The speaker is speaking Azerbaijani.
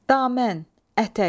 Damən, ətək.